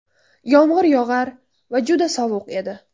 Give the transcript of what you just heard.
Yomg‘ir yog‘ar va juda sovuq edi.